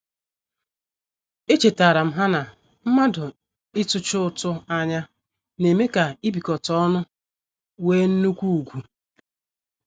Echetaram ha na mmadụ ị tuchi ụtụ anya na-eme ka ibikota ọnu wee nnukwu ugwu.